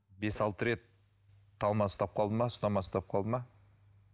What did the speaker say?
бес алты рет талмасы ұстап қалды ма ұстамасы ұстап қалды ма